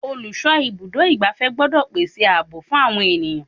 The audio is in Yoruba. Olùsọ ibùdó igbàfẹ́ gbọ́dọ̀ gbèsè ààbò fún àwọn ènìyàn.